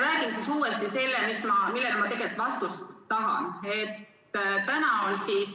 Räägin uuesti üle selle, millele ma tegelikult vastust tahan.